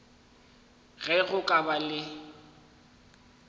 ge go ka ba le